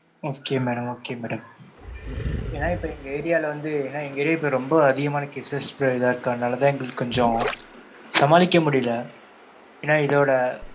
Okay madam okay madam ஏன்னா இப்ப எங்க area ல வந்து எங்க area ல ரெம்ப அதிகமான cases இதா இருக்கு அதனால கொஞ்சம் சமாளிக்க முடியல ஏன்னா இதோட,